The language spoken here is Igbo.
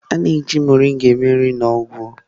A na-eji mọrịnga eme nri na ọgwụ.